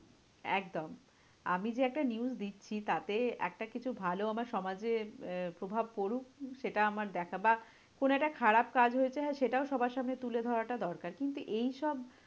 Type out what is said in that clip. একদম। আমি যে একটা news দিচ্ছি তাতে একটা কিছু ভালো আমার সমাজে প্রভাব পরুক। সেটা আমার দেখা বা কোনো একটা খারাপ কাজ হয়েছে হ্যাঁ সেটাও সবার সামনে তুলে ধরাটা দরকার। কিন্তু এইসব